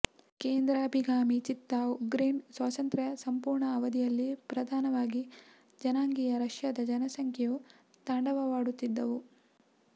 ಕೇಂದ್ರಾಭಿಗಾಮಿ ಚಿತ್ತ ಉಕ್ರೇನ್ ಸ್ವಾತಂತ್ರ್ಯ ಸಂಪೂರ್ಣ ಅವಧಿಯಲ್ಲಿ ಪ್ರಧಾನವಾಗಿ ಜನಾಂಗೀಯ ರಷ್ಯಾದ ಜನಸಂಖ್ಯೆಯು ತಾಂಡವವಾಡುತ್ತಿದ್ದವು